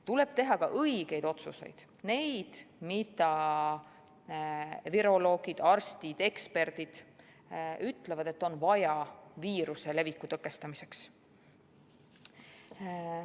Tuleb teha ka õigeid otsuseid, neid, mille kohta viroloogid, arstid, eksperdid ütlevad, et neid on vaja viiruse leviku tõkestamiseks.